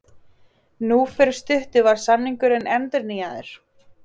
Nú fyrir stuttu var samningurinn endurnýjaður.